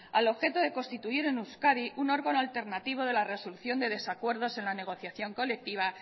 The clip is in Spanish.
al objeto de constituir en euskadi un órgano alternativo de la resolución de desacuerdos en la negociación colectiva